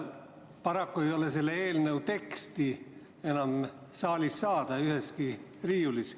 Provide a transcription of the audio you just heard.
Paraku ei ole selle eelnõu teksti enam saalis mitte üheski riiulis.